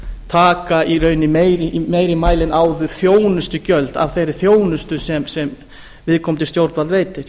taka í rauninni í meira mæli en áður þjónustugjöld af þeirri þjónustu sem viðkomandi stjórnvald veitir